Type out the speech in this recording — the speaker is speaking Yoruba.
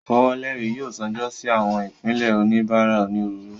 Ifowoleri yoo ṣaajo si awọn ipilẹ oníbárà onírúurú